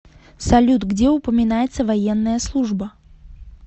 салют где упоминается военная служба